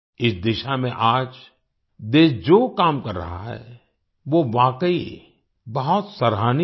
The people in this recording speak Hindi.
इस दिशा में आज देश जो काम कर रहा है वो वाकई बहुत सराहनीय है